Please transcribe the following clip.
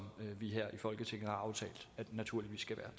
vi her i folketinget har aftalt naturligvis skal